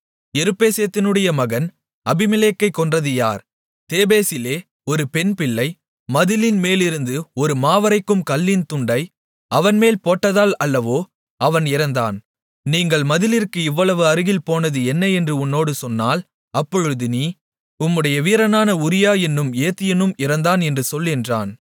எருப்பேசேத்தினுடைய மகன் அபிமெலேக்கைக் கொன்றது யார் தேபேசிலே ஒரு பெண்பிள்ளை மதிலின் மேலிருந்து ஒரு மாவரைக்கும் கல்லின் துண்டை அவன்மேல் போட்டதால் அல்லவோ அவன் இறந்தான் நீங்கள் மதிலிற்கு இவ்வளவு அருகில் போனது என்ன என்று உன்னோடு சொன்னால் அப்பொழுது நீ உம்முடைய வீரனான உரியா என்னும் ஏத்தியனும் இறந்தான் என்று சொல் என்றான்